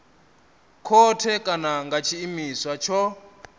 khothe kana nga tshiimiswa tsho